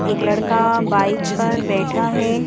एक लड़काबाइक पर बैठा है।